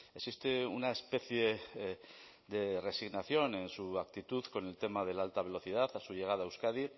existe una especie de resignación en su actitud con el tema de la alta velocidad a su llegada a euskadi